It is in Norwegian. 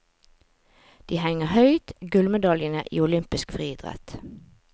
De henger høyt, gullmedaljene i olympisk friidrett.